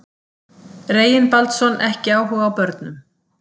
Reginbaldsson ekki áhuga á börnum.